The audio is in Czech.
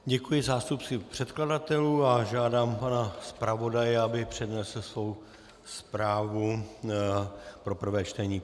Děkuji zástupci předkladatelů a žádám pana zpravodaje, aby přednesl svou zprávu pro prvé čtení.